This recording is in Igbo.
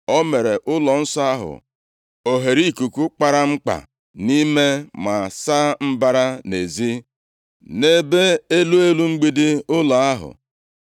O meere ụlọnsọ ahụ oghereikuku kpara nkpa nʼime ma saa mbara nʼezi, nʼebe elu elu mgbidi ụlọ ahụ.